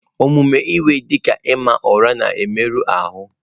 Omume iwe, dị ka ịma ụra, na-emerụ ahụ.